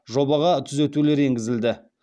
жобаға түзетулер енгізілді